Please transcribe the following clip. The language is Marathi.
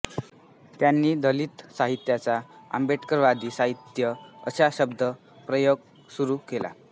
त्यांनी दलित साहित्याचा आंबेडकरवादी साहित्य असा शब्द प्रयोग सुरू केला